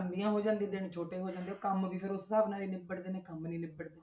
ਲੰਬੀਆਂ ਹੋ ਜਾਂਦੀਆਂ ਦਿਨ ਛੋਟੇ ਹੋ ਜਾਂਦੇ ਕੰਮ ਵੀ ਫਿਰ ਉਸ ਹਿਸਾਬ ਨਾਲ ਹੀ ਨਿਬੜਦੇ ਨੇ, ਕੰਮ ਨੀ ਨਿਬੜਦੇ।